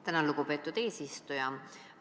Tänan, lugupeetud eesistuja!